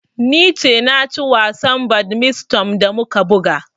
Ni ce na ci wasan badminton da muka buga.